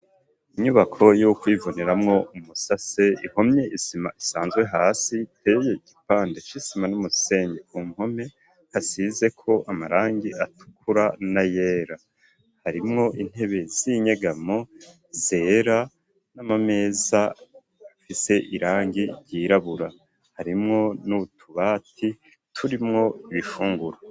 Inyubako yo kwivuniramwo umusase ihomye isima isanzwe hasi iteye igipande c'isima n'umusengi ku mpome hasize ko amarangi atukura na yera harimwo intebe z'inyegamo zera n'amameza afise irangi ryirabura harimwo n'utubati turimwo ibifungurwa.